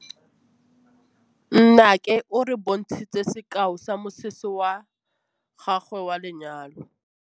Nnake o re bontshitse sekaô sa mosese wa gagwe wa lenyalo.